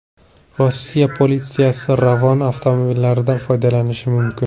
Rossiya politsiyasi Ravon avtomobillaridan foydalanishi mumkin.